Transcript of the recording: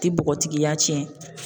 Ti bɔgɔtigiya tiɲɛ.